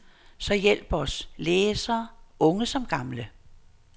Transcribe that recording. Så hjælp os, læsere, unge som gamle.